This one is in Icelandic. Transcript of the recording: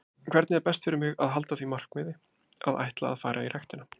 Hvernig er best fyrir mig að halda því markmiði að ætla að fara í ræktina?